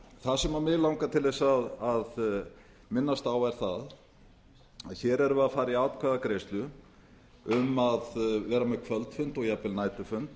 það sem mig langar til að minnast á er að hér erum við að fara í atkvæðagreiðslu um að vera með kvöldfund og jafnvel næturfund